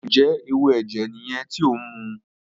Njẹ ẹwu ẹjẹ yẹn ti o nmu?